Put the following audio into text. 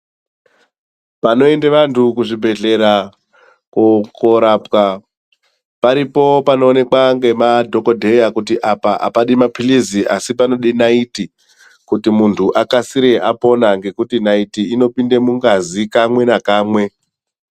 Panoenda vantu kuzvibhehlera korapwa paripo panoonekwa nemadhokhodheya kuti apa hapadi mapirisi ASI panoda naiti kuti muntu akasire apona nekuti naiti inopinda mungazi kamwe nekamwe.